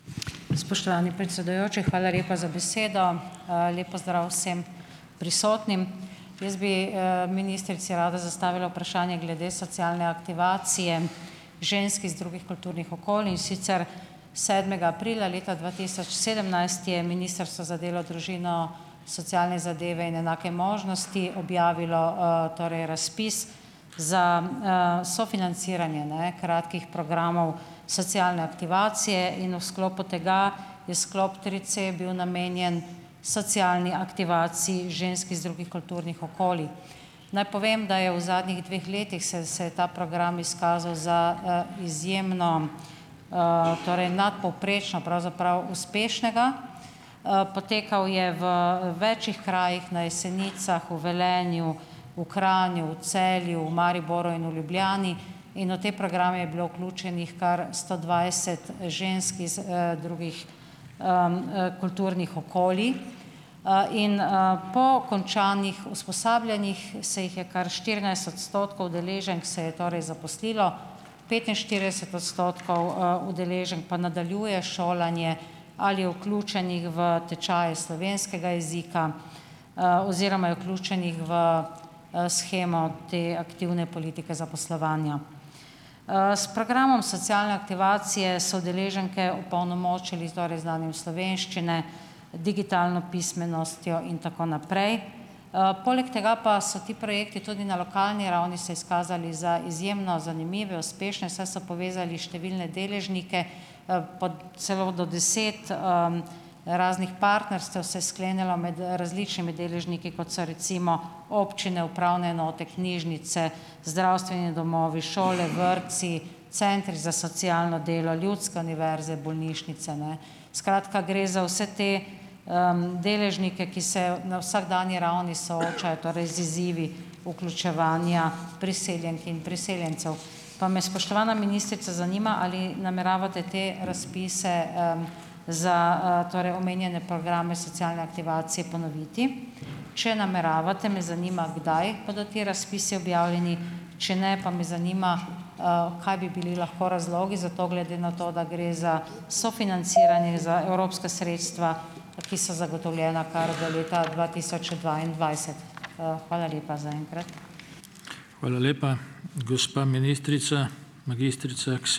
Spoštovani predsedujoči, hvala lepa za besedo. Lep pozdrav vsem prisotnim. Jaz bi ministrici rada zastavila vprašanje glede socialne aktivacije žensk iz drugih kulturnih okolij, in sicer sedmega aprila leta dva tisoč sedemnajst je Ministrstvo za delo, družino, socialne zadeve in enake možnosti objavilo torej razpis za sofinanciranje ne kratkih programov socialne aktivacije in v sklopu tega je sklop tri c bil namenjen socialni aktivaciji žensk iz drugih kulturnih okolij. Naj povem, da je v zadnjih dveh letih se se je ta program izkazal za izjemno, torej nadpovprečno pravzaprav uspešnega. Potekal je v več krajih, na Jesenicah, v Velenju, v Kranju, v Celju, v Mariboru in v Ljubljani, in v te programe je bilo vključenih kar sto dvajset žensk iz drugih kulturnih okolij. in Po končanih usposabljanjih se jih je kar štirinajst odstotkov udeleženk se je torej zaposlilo, petinštirideset odstotkov udeleženk pa nadaljuje šolanje ali je vključenih v tečaje slovenskega jezika oziroma je vključenih v shemo te aktivne politike zaposlovanja. S programom socialne aktivacije so udeleženke opolnomočili torej z znanjem slovenščine, digitalno pismenostjo in tako naprej. Poleg tega pa so ti projekti tudi na lokalni ravni se izkazali za izjemno zanimive, uspešne, saj so povezali številne deležnike, po celo do deset raznih partnerstev se je sklenilo med različnimi deležniki, kot so recimo občine, upravne enote, knjižnice, zdravstveni domovi, šole, vrtci, centri za socialno delo, ljudske univerze, bolnišnice, ne. Skratka, gre za vse te deležnike, ki se na vsakdanji ravni soočajo torej z izzivi vključevanja priseljenk in priseljencev. Pa me, spoštovana ministrica, zanima, ali nameravate te razpise za torej omenjene programe socialne aktivacije ponoviti? Če nameravate, me zanima, kdaj bodo ti razpisi objavljeni. Če ne, pa me zanima, kaj bi bili lahko razlogi za to, glede na to, da gre za sofinanciranje, za evropska sredstva, ki so zagotovljena kar do leta dva tisoč dvaindvajset. Hvala lepa zaenkrat.